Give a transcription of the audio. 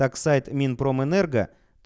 сайт минпромэнерго